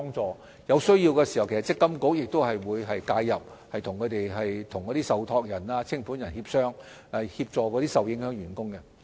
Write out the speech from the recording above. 在有需要時，積金局亦會介入，與受託人及清盤人協商，協助受影響的員工。